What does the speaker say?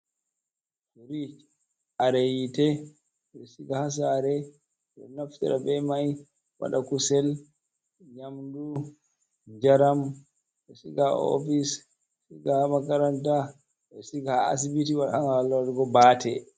Firiic kare yiite, ɓe ɗo siga haa saare, ɗo naftira be may waɗa, kusel, nyamdu, njaram, siga haa ofis, siga haa makaranta, siga haa asibiti, haala waɗugo baate.